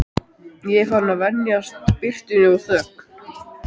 Ég er farinn að venjast birtunni og þögn